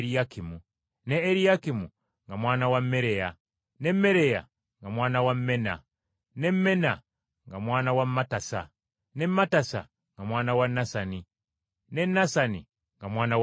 ne Eriyakimu nga mwana wa Mereya, ne Mereya nga mwana wa Menna, ne Menna nga mwana wa Mattasa, ne Mattasa nga mwana wa Nasani, ne Nasani nga mwana wa Dawudi,